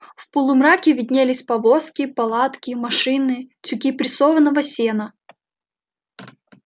в полумраке виднелись повозки палатки машины тюки прессованного сена